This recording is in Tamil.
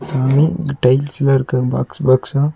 சாமி இங்க டைல்ஸ்ல இருக்க பாக்ஸ் பாக்ஸா .